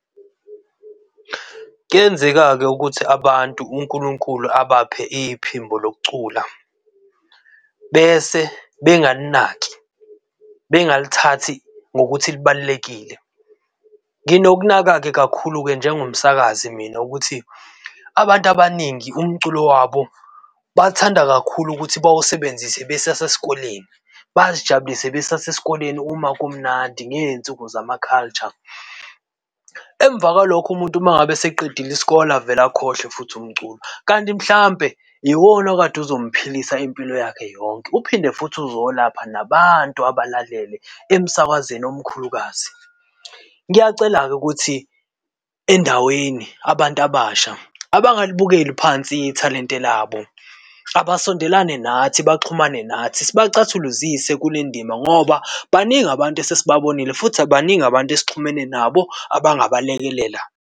Kuyenzeka-ke ukuthi abantu uNkulunkulu abaphe iphimbo lokucula bese bengalinaki, bengalithathi ngokuthi libalulekile. Nginokunaka-ke kakhulu-ke njengomsakazi mina, ukuthi abantu abaningi umculo wabo bathanda kakhulu ukuthi bawasebenzise besasesikoleni, bazijabulise besasesikoleni uma kumnandi ngezinsuku zama culture. Emva kwalokho umuntu uma ngabe eseqedile isikole avele akhohlwe futhi umculo, kanti mhlampe iwona okade uzomphilisa impilo yakhe yonke. Uphinde futhi uzolapha nabantu abalalele emsakazweni omkhulukazi. Ngiyacela-ke ukuthi endaweni abantu abasha abangalibukeli phansi ithalente labo. Abasondelane nathi baxhumane nathi sibacathuluzise kulendima ngoba baningi abantu esesibabonile futhi baningi abantu esixhumene nabo abangaba lekelela.